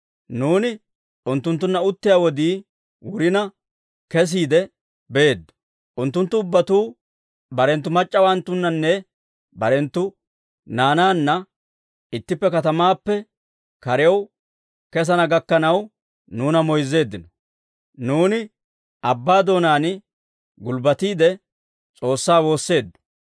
Nuuni unttunttunna uttiyaa wodii wurina, kesiide beeddo; unttunttu ubbatuu barenttu mac'c'awanttunnanne barenttu naanaanna ittippe katamaappe karew kessana gakkanaw, nuuna moyzzeeddino; nuuni abbaa doonaan gulbbatiide, S'oossaa woosseeddo.